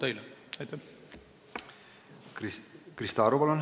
Krista Aru, palun!